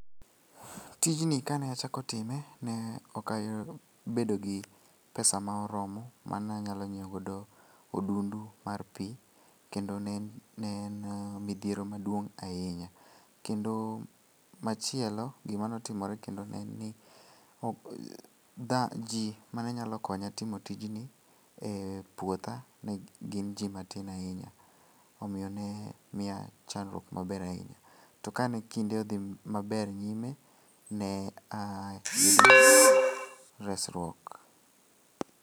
Tijni kane achako time, ne okabedo gi pesa ma oromo ma nanyalo nyieogodo odundu mar pi kendo ne en midhiero maduong' ahinya, kendo machielo gimanotimore kendo ne en ni ji manenyalo konya timo tijni e puotha ne gin ji matin ahinya, omiyo ne miya chandruok maber ahinya, to ka ne kinde odhi maber nyime ne a resruok.